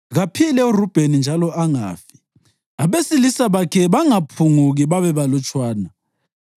Kaphile uRubheni njalo angafi, abesilisa bakhe bangaphunguki babebalutshwana.”